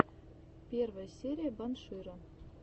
первая серия банширо